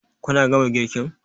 Kun gama girkin?